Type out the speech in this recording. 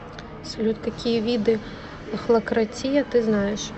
салют какие виды охлократия ты знаешь